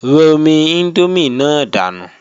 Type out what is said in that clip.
Romi índómì náà dànù!